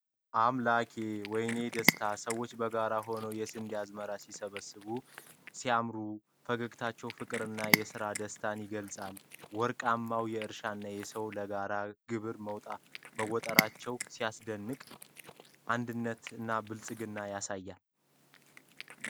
አምላኬ! ወይኔ ደስታ! ሰዎቹ በጋራ ሆነው የስንዴ አዝመራ ሲሰበስቡ ሲያምር። ፈገግታው ፍቅርንና የሥራ ደስታን ይገልጻል። ወርቃማው እርሻ እና ሰዎች ለጋራ ግብ መጣራቸው ሲያስደንቅ! አንድነትና ብልጽግናን ያሳያል።